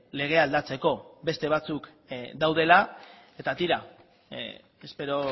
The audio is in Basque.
legea aldatzeko beste batzuk daudela eta tira espero